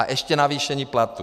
A ještě navýšení platů.